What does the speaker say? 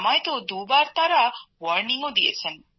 আমাকে তো দুবার তারা সতর্ক করেও দিয়েছেন